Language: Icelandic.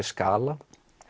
skala